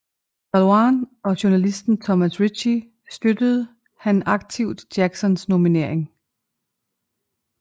Calhoun og journalisten Thomas Ritchie støttede han aktivt Jacksons nominering